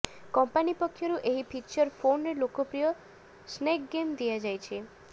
company ପକ୍ଷରୁ ଏହି feature ଫୋନ୍ରେ ଲୋକପ୍ରିୟ ସ୍ନେକ୍ ଗେମ୍ ଦିଆଯାଇଛି